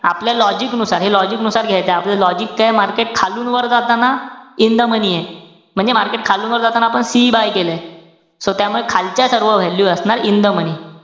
आपल्या logic नुसार, हे logic नुसार घायचय. आपलं logic काये? market खालून वर जाताना, in the money ए. म्हणजे market खालून वर जाताना आपण CE buy केलय. So त्यामुळे खालच्या सर्व value असणार in the money